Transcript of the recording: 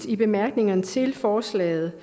i bemærkningerne til forslaget